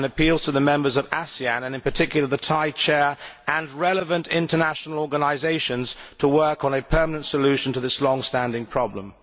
and appeals to the members of ASEAN and, in particular, the Thai chair and relevant international organisations, to work on a permanent solution to this long standing problem'.